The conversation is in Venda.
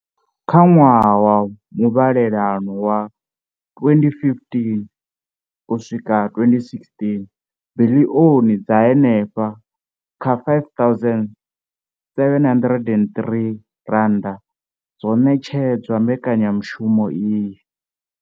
Kha ṅwaha wa muvhalelano wa 2015,16, biḽioni dza henefha kha R5 703 dzo ṋetshedzwa mbekanyamushumo iyi.